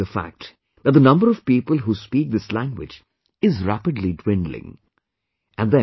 They are quite saddened by the fact that the number of people who speak this language is rapidly dwindling